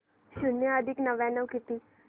शून्य अधिक नव्याण्णव किती